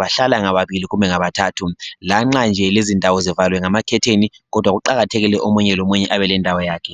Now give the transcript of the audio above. bahlala ngababili kumbe ngabathathu. Lanxa nje lezi izindawo zivaliwe ngama curtain kodwa kuqakathekile ukuthi omunye lomunye abe le ndawo yakhe.